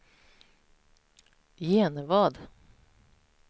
Genevad